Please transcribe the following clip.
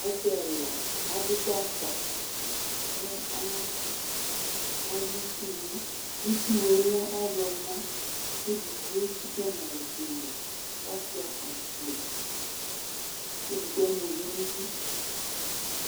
Asi ɛla adʋ gbaka kʋ alʋ itsʋwʋ itsʋwʋ yɛlɛ ɔwlɔmɔ kʋ edigbo etsika nʋ alɔ kpeme asuia akpo kʋ edigbo ama ʋvi nʋ idʋ